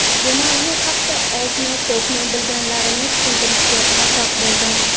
bu mavzu haqida ozmi ko‘pmi bilganlarimni tushuntirishga muvaffaq bo‘ldim.